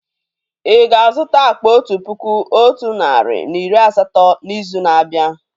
Ì ga-azụta akpa otu puku otu narị na iri asatọ n'izu na-abịa?